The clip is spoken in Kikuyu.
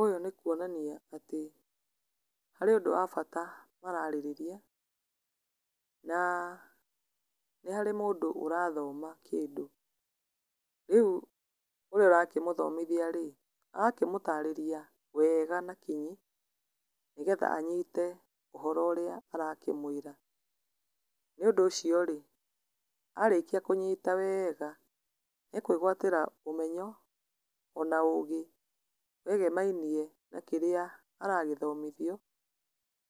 Ũyũ nĩ kuonania atĩ harĩ ũndũ wa bata mararĩrĩria na nĩharĩ mũndũ ũrathoma kĩndũ. Rĩu ũrĩa ũrakĩmũthomithia-rĩ, agakĩmũtarĩria wega na kinyi nĩgetha anyite ũhoro ũrĩa arakĩmwĩra. Nĩ ũndũ ũcio-rĩ, arĩkia kũnyita wega nĩekwĩgwatĩra ũmenyo ona ũgĩ wegemainie na kĩrĩa aragĩthomithio,